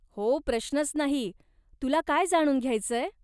हो प्रश्नच नाही, तुला काय जाणून घ्यायचंय?